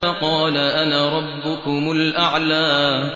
فَقَالَ أَنَا رَبُّكُمُ الْأَعْلَىٰ